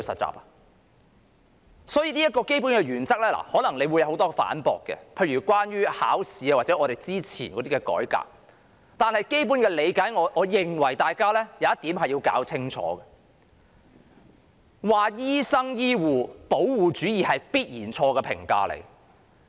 關於這個基本的原則，可能會惹來很多反駁，一如考試或之前的改革，但在基本理解上，我認為大家要弄清楚一點，就是指醫生、醫護是"保護主義"，那必然是錯誤的評價。